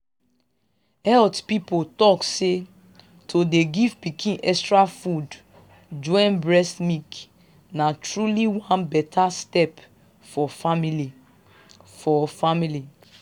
health people talk say to dey give pikin extra food join breast milk na truly one beta step for family. for family.